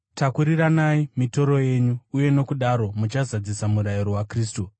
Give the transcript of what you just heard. Takuriranai mitoro yenyu, uye nokudaro muchazadzisa murayiro waKristu.